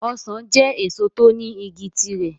Ọsàn jẹ́ èso tó ní igi ti rẹ̀.